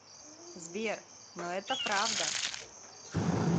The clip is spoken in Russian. сбер но это правда